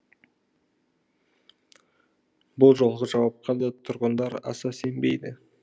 бұл жолғы жауапқа да тұрғындар аса сенбейді